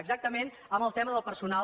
exactament amb el tema del personal